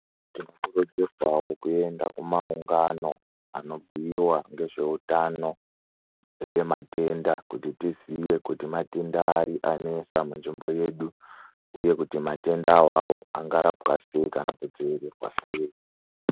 Tinokodzerwawo kuenda kumaungano anobhuyiwa ngezveutano neematenda kuti tizive kuti matenda ari anesa munzvimbo yedu uye kuti matenda awawo angarapwa sei kana kudzivirira sei.